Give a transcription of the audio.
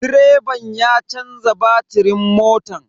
Direban ya canza batirin motan.